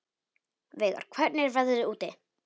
Veigar, hvernig er veðrið úti?